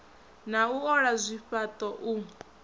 na u ola zwifhaṱo u